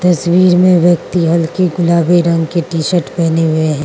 तस्वीर में व्यक्ति हल्की गुलाबी रंग की टी-शर्ट पहने हुए है।